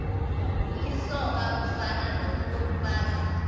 lisoka ufani nokomfazi